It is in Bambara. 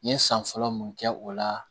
N ye san fɔlɔ mun kɛ o la